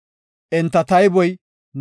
Enta tayboy 2,750.